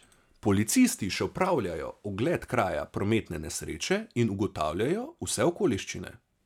Policisti še opravljajo ogled kraja prometne nesreče in ugotavljajo vse okoliščine.